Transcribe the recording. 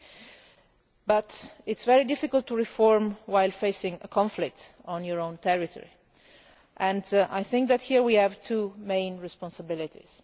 However, it is very difficult to reform while facing a conflict on your own territory, and I think that here we have two main responsibilities.